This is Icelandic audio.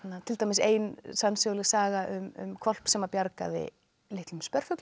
til dæmis ein sannsöguleg saga um hvolp sem bjargaði litlum